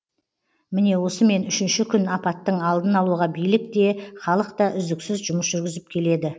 міне осымен үшінші күн апаттың алдын алуға билік те халық та үздіксіз жұмыс жүргізіп келеді